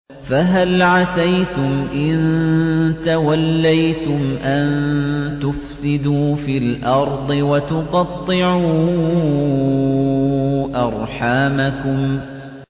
فَهَلْ عَسَيْتُمْ إِن تَوَلَّيْتُمْ أَن تُفْسِدُوا فِي الْأَرْضِ وَتُقَطِّعُوا أَرْحَامَكُمْ